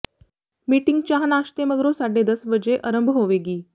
meeting ਚਾਹ ਨਾਸ਼ਤੇ ਮਗਰੋਂ ਸਾਢੇ ਦਸ ਵਜੇ ਅਰੰਭ ਹੋਵੇਗੀ